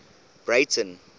breyten